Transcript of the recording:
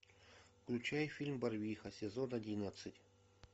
включай фильм барвиха сезон одиннадцать